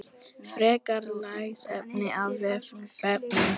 Frekara lesefni af vefnum